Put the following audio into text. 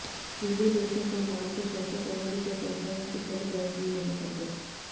video ਦੇਖਣ ਤੋਂ ਬਾਅਦ ਪ੍ਰਸ਼ੰਸਕ ਉਨ੍ਹਾਂ ਦੀ ਪ੍ਰਸ਼ੰਸਾ ਕੀਤੇ ਬਗੈਰ ਜੀ ਨਹੀਂ ਸਕਦੇ